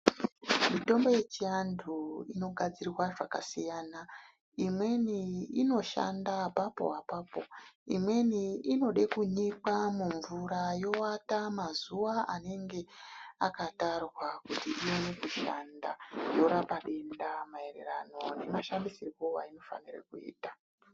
Mitombo yechiantu inogadzirwa zvakasiyana imweni inoshanda apapo apapo imweni imweni inode kunyikwa mumvura yowata mazuwa anenge akatarwa kuti iwone kushanda yorapa denda mairirano nemashandisirwo ainofanira kuitwa.